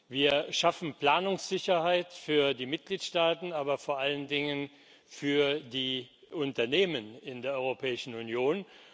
Wir schaffen Planungssicherheit für die Mitgliedstaaten, aber vor allen Dingen für die Unternehmen in der Europäischen Union.